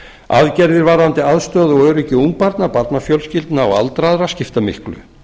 aðgerðir varðandi aðstöðu og öryggi ungbarna barnafjölskyldna og aldraðra skipta miklu